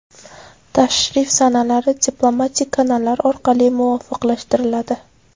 Tashrif sanalari diplomatik kanallar orqali muvofiqlashtiriladi.